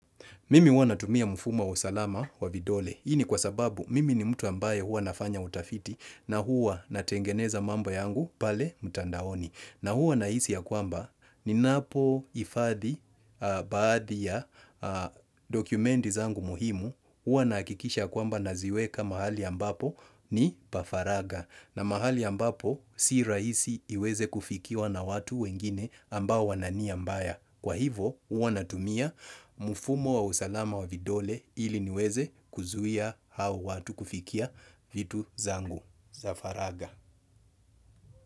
Mimi huwa natumia mfumo wa usalama wa vidole. Hii ni kwa sababu mimi ni mtu ambaye huanafanya utafiti na huwa natengeneza mambo yangu pale mtandaoni. Na huwa nahisi ya kwamba ninapo hifadhi baadhi ya dokumenti zangu muhimu. Huwa nahakikisha ya kwamba naziweka mahali ambapo ni pa faragha. Na mahali ambapo si rahisi iweze kufikiwa na watu wengine ambao wanania mbaya. Kwa hivyo huwa natumia mfumo wa usalama wa vidole ili niweze kuzuia hao watu kufikia vitu zangu za faraga.